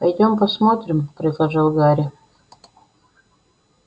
пойдём посмотрим предложил гарри